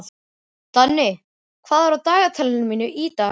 Danni, hvað er á dagatalinu mínu í dag?